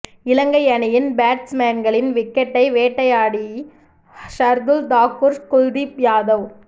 இலங்கை அணியின் பேட்ஸ்மேன்களின் விக்கெட்டை வேட்டையாடி ஷர்துல் தாக்கூர் குல்தீப் யாதவ்